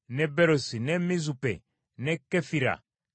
ne Mizupe ne Kefira ne Moza,